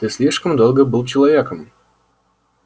ты слишком долго был человеком